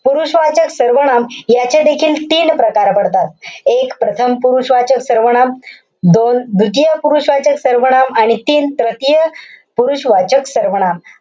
पुरुषवाचक सर्वनाम याचे देखील तीन प्रकार पडतात. एक, प्रथम पुरुषवाचक सर्वनाम. दोन, द्वितीय पुरुषवाचक सर्वनाम. आणि तीन, तृतीय पुरुषवाचक सर्वनाम.